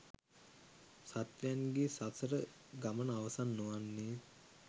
සත්ත්වයන්ගේ සසර ගමන අවසන් නොවන්නේ